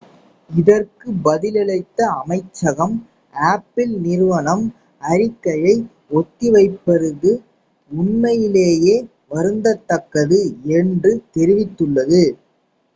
"இதற்கு பதிலளித்த அமைச்சகம் apple நிறுவனம் அறிக்கையை ஒத்திவைத்திருப்பது "உண்மையிலேயே வருந்தத்தக்கது" என்று தெரிவித்துள்ளது.